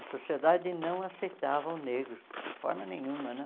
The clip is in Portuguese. A sociedade não aceitava o negro, de forma nenhuma né.